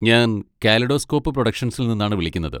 ഞാൻ കാലിഡോസ്കോപ്പ് പ്രൊഡക്ഷൻസിൽ നിന്നാണ് വിളിക്കുന്നത്.